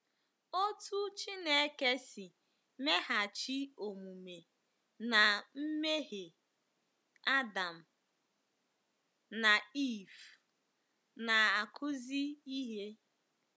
Otú Chineke si meghachi omume ná mmehie Adam na Eve na-akụzi ihe.